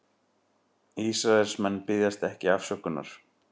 Ísraelsmenn biðjast ekki afsökunar